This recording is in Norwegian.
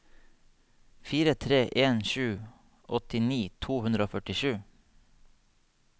fire tre en sju åttini to hundre og førtisju